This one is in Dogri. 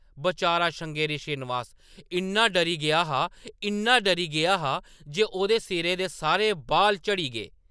बचारा श्रृंगेरी श्रीनिवास इन्ना डरी गेदा हा , इन्ना डरी गेदा हा जे ...... ओह्‌‌‌दे सिरै दे सारे बाल झड़ी गे !